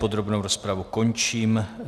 Podrobnou rozpravu končím.